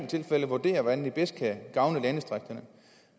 tilfælde vurderer hvordan det bedst kan gavne landdistrikterne